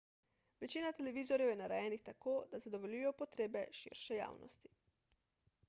večina televizorjev je narejenih tako da zadovoljijo potrebe širše javnosti